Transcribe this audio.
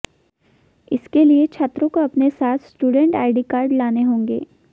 इसके लिए छात्रों को अपने साथ स्टूडेंट आईडी कार्ड लाने होंगे